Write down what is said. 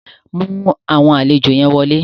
Mú àwọn àlejò yẹn wọlé.